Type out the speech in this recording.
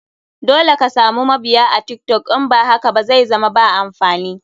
Dole ka samu mabiya a tiktok in ba haka ba zaizama ba amfani.